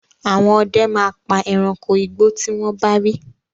Àwọn ọdẹ máa pa ẹranko igbó tí wọ́n bá rí.